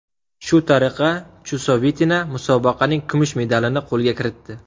Shu tariqa Chusovitina musobaqaning kumush medalini qo‘lga kiritdi.